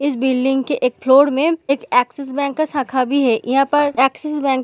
इस बिल्डिंग के एक फ्लोर में एक एक्सिस बैंक का शाखा भी है यहाँ पर एक्सिस बैंक --